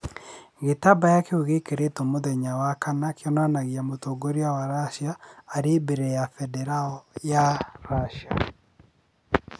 Gĩtambaya kĩu gĩekĩrirwo muthenya wa kana kĩonanagia mũtongoria wa Racia arĩ mbere ya bendera ya Racia.